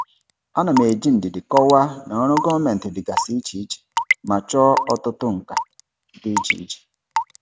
Ana m eji ndidi kọwaa na ọrụ gọọmentị dịgasị iche iche ma chọọ ọtụtụ nka dị iche iche.